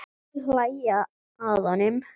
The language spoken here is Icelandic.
Þeir hlæja að honum.